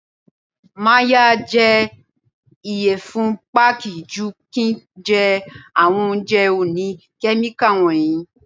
Màá ya jẹ ìyẹ̀fun Pákí ju kín ń jẹ àwọn oúnjẹ òní Kẹ́míkà wọ̀nyí.